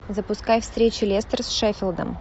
запускай встречу лестер с шеффилдом